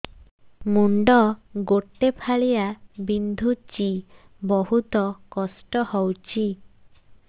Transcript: ମୁଣ୍ଡ ଗୋଟେ ଫାଳିଆ ବିନ୍ଧୁଚି ବହୁତ କଷ୍ଟ ହଉଚି